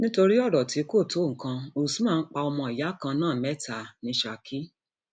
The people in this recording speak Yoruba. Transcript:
nítorí ọrọ tí kò tó nǹkan usman um pa ọmọọyà kan náà mẹta um ní saki